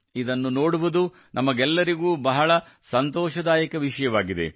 ಇದನ್ನು ನೋಡುವುದು ನಮಗೆಲ್ಲರಿಗೂ ಬಹಳ ಸಂತೋಷದಾಯಕ ವಿಷಯವಾಗಿದೆ